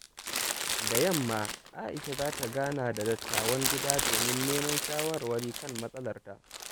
Da yamma, A’isha za ta gana da dattawan gida domin neman shawarwari kan matsalarta.